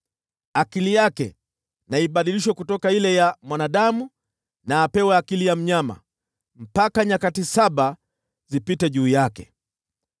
Akili yake na ibadilishwe kutoka ile ya mwanadamu na apewe akili ya mnyama, mpaka nyakati saba zipite juu yake.